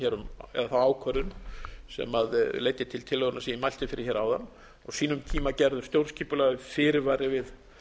hér um eða þá ákvörðun sem leiddi til tillögunnar sem ég mælti fyrir hér áðan á sínum tíma gerður stjórnskipulegur fyrirvari við